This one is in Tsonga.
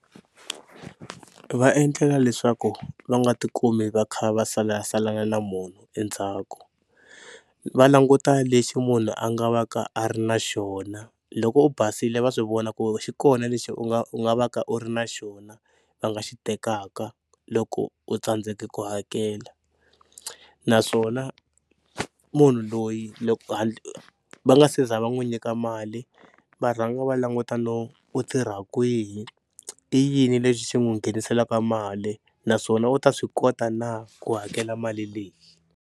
Va endlela leswaku va nga ti kumi va kha va salasalana na munhu endzhaku, va languta lexi munhu a nga va ka a ri na xona loko u basile va swi vona ku xi kona lexi u nga u nga va ka u ri na xona va nga xi tekaka loko u tsandzeke ku hakela. Naswona munhu loyi loko va nga se za va n'wi nyika mali va rhanga va languta no u tirha kwihi i yini lexi xi n'wi ngheniselaka mali naswona u ta swi kota na ku hakela mali leyi.